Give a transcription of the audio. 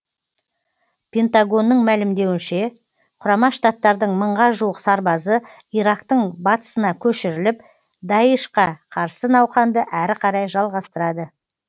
пентагонның мәлімдеуінше құрама штаттардың мыңға жуық сарбазы ирактың батысына көшіріліп даишқа қарсы науқанды әрі қарай жалғастырады